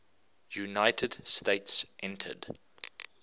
united states entered